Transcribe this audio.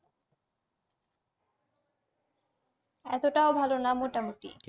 এতো টাও ভালো না মোটামুটি।